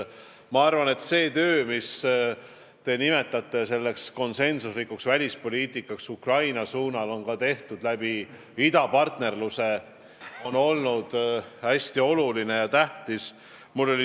Ma arvan, et seda tööd, mida te nimetate konsensuslikuks välispoliitikaks Ukraina suunal, on tehtud ka idapartnerluse kaudu ja see on hästi tähtis olnud.